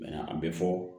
a bɛ fɔ